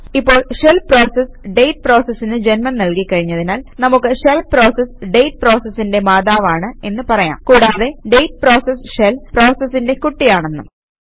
ഇപ്പോൾ shell process date പ്രോസസിന് ജന്മം നല്കി കഴിഞ്ഞതിനാൽ നമുക്ക് ഷെൽ പ്രോസസ് ഡേറ്റ് പ്രോസസിന്റെ മാതാവാണ് എന്ന് പറയാം കൂടാതെ ഡേറ്റ് പ്രോസസ് ഷെൽ പ്രോസസിന്റെ കുട്ടിയാണെന്നും